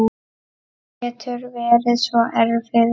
Hann getur verið svo erfiður